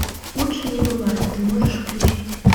лучше не бывает ты можешь включить